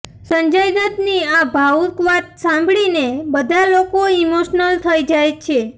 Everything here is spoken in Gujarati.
સંજય દત ની આ ભાવુક વાત ને સાંભળી ને બધા લોકો ઈમોશનલ થઇ જાય છે